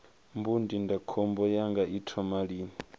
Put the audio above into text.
mbu ndindakhombo yanga i thoma lini